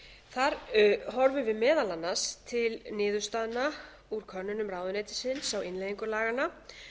þar horfum við meðal annars til niðurstaðna úr könnunum ráðuneytisins á innleiðingu laganna